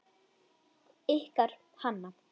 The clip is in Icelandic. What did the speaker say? Ykkar Hanna.